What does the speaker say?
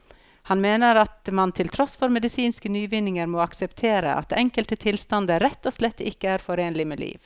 Han mener at man til tross for medisinske nyvinninger må akseptere at enkelte tilstander rett og slett ikke er forenlig med liv.